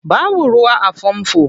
Babu ruwa a famfo.